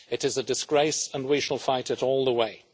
It is a disgrace and we shall fight it all the way.